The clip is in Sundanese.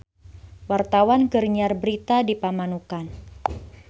Wartawan keur nyiar berita di Pamanukan